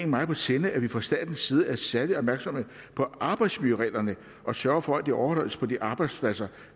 meget på sinde at vi fra statens side er særlig opmærksomme på arbejdsmiljøreglerne og sørger for at de overholdes på de arbejdspladser